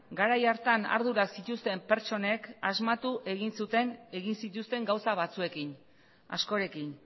garai hartan ardura zituzten pertsonek asmatu egin zuten egin zituzten gauza batzuekin askorekin